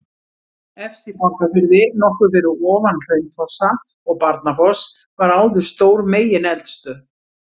Efst í Borgarfirði, nokkuð fyrir ofan Hraunfossa og Barnafoss var áður stór megineldstöð.